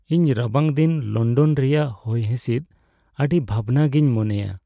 ᱤᱧ ᱨᱟᱵᱟᱝ ᱫᱤᱱ ᱞᱚᱱᱰᱚᱱ ᱨᱮᱭᱟᱜ ᱦᱚᱭᱦᱤᱸᱥᱤᱫ ᱟᱹᱰᱤ ᱵᱷᱟᱵᱽᱱᱟ ᱜᱤᱧ ᱢᱚᱱᱮᱭᱟ ᱾